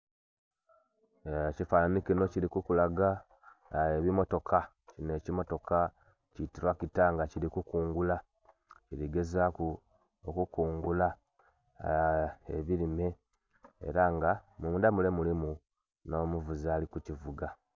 Ekifanhanhi kino kili kukulaga, ebimmotoka, kinho ekimmotoka ki tulakita nga kili kukungula. Kili gezaaku okukungula ebilime. Ela nga munda mule mulimu nh'omuvuzi ali kukivuga.